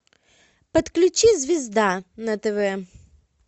подключи звезда на тв